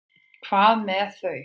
Hvað með þau?